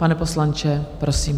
Pane poslanče, prosím.